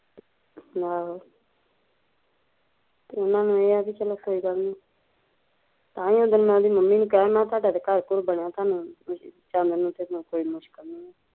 ਆਹੋ ਉਹਨਾਂ ਨੂੰ ਏਹ ਵੀ ਚੱਲ ਕੋਈ ਗੱਲ ਨੀ ਤਾਂਹੀਂਓ ਮੈਂ ਉਦਣ ਉਹਦੀ ਮੰਮੀ ਨੂੰ ਕਿਹਾਂ ਵੀ ਤੁਹਾਡਾ ਤਾਂ ਚਲੋ ਘਰ ਬਾਰ ਬਣਿਆ ਸਾਨੂੰ ਤੇ ਨੋਕਰੀ ਮੁਸਕਿਲ ਐ